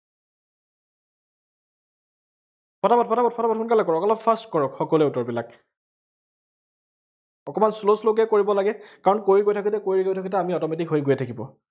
পটাপট পটাপট পটাপট, সোনকালে কৰক, অলপ fast কৰক সকলোৱে উত্তৰবিলাক। অকমান slow slow কে কৰিব লাগে, কাৰন কৰি গৈ থাকোতে, কৰি গৈ থাকোতে আমি automatic হৈ গৈ থাকিব।